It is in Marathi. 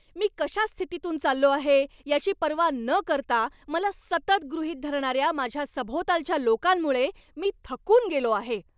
मी कशा स्थितीतून चाललो आहे याची पर्वा न करता मला सतत गृहीत धरणाऱ्या माझ्या सभोवतालच्या लोकांमुळे मी थकून गेलो आहे.